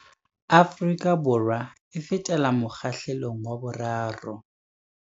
Afrika Borwa e fetela mokgahlelong wa 3.